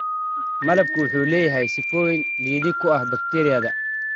Malabku wuxuu leeyahay sifooyin liddi ku ah bakteeriyada.